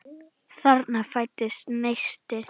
Þarna fæddist neisti.